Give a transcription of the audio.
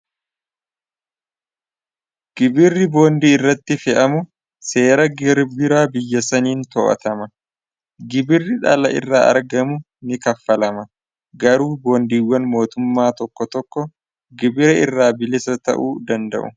gibirri boondii irratti fe'amu seera gibira biyya saniin to'atama gibirri dhala irraa argamu ni kaffalama garuu boondiiwwan mootummaa tokko tokko gibiri irraa bilisa ta'uu danda'u.